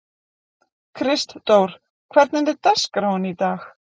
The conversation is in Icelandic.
Kristdór, hvernig er dagskráin í dag?